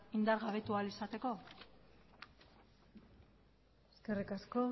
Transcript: indargabetu ahal izateko eskerrik asko